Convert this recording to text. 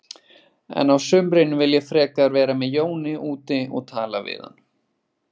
En á sumrin vil ég frekar vera með Jóni úti og tala við hann.